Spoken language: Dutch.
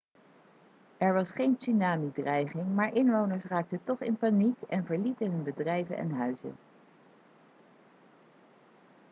er was geen tsunami-dreiging maar inwoners raakten toch in paniek en verlieten hun bedrijven en huizen